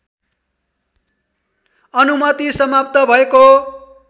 अनुमति समाप्त भएको